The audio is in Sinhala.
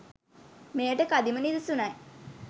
මෙයට කදිම නිදසුනයි.